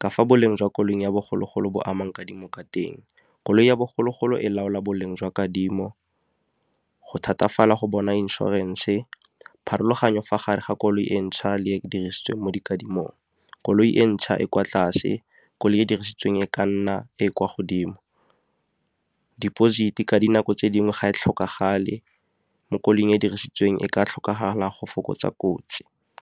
ka fa boleng jwa koloi ya bogologolo bo amang kadimo ka teng. Koloi ya bogologolo e laola boleng jwa kadimo, go thatafala go bona inšorense, pharologanyo fa gare ga koloi e ntšha le dirisitsweng mo dikadimong koloi e ntšha e kwa tlase, koloi e dirisitsweng e ka nna e e kwa godimo. Deposit-e ka dinako tse dingwe ga e tlhokagale, mo koloing e dirisitsweng e ka tlhokagala go fokotsa kotsi.